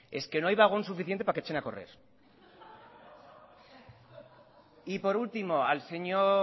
es que no hay vagón suficiente para que echen a correr y por último al señor